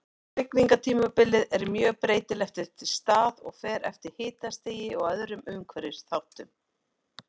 Hrygningartímabilið er mjög breytilegt eftir stað og fer eftir hitastigi og öðrum umhverfisþáttum.